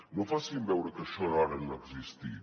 no facin veure que això ara no ha existit